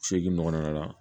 Seegin ɲɔgɔn na la